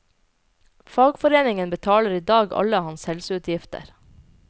Fagforeningen betaler i dag alle hans helseutgifter.